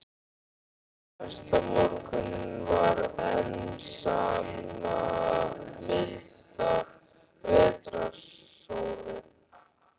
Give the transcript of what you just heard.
Næsta morgun var enn sama milda vetrarsólin.